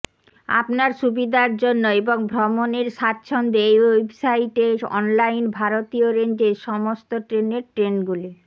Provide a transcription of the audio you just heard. আপনার সুবিধার জন্য এবং ভ্রমণের স্বচ্ছন্দে এই ওয়েবসাইটে অনলাইন ভারতীয় রেঞ্জের সমস্ত ট্রেনের ট্রেনগুলি